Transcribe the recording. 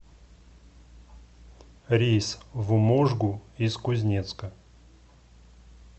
рейс в можгу из кузнецка